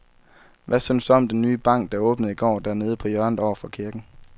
Hvad synes du om den nye bank, der åbnede i går dernede på hjørnet over for kirken?